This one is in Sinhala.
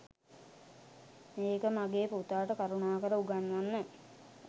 මේක මගේ පුතාට කරුණාකර උගන්වන්න.